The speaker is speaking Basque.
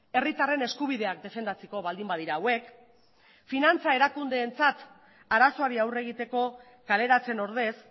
herritarren eskubideak defendatzeko baldin badira hauek finantza erakundeentzat arazoari aurre egiteko kaleratzen ordez